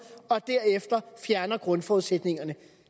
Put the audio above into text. og derefter fjerner grundforudsætningerne